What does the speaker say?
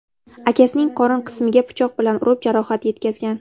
akasining qorin qismiga pichoq bilan urib jarohat yetkazgan.